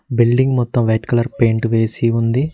Building మొత్తం white colour paint వేసి ఉంది.